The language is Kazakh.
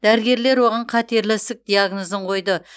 дәрігерлер оған қатерлі ісік диагнозын қойды